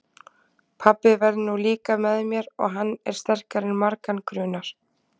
Pabbi verður nú líka með mér og hann er sterkari en margan grunar.